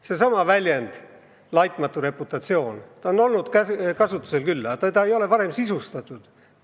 Seesama väljend – "laitmatu reputatsioon" – on olnud kasutusel küll, aga seda ei ole varem sisustatud.